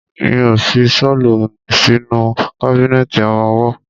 Mi ó fi ṣọ́lù sínú kábínẹ̀tì ọmọwọ́.